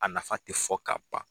A nafa tɛ fɔ ka ban